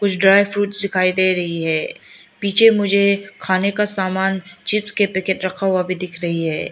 कुछ dry fruits दिखाई दे रही हैं पीछे मुझे खाने का समान चिप्स के पैकेट्स रखा हुआ भी दिख रही है।